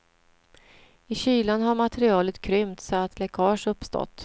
I kylan har materialet krympt så att läckage uppstått.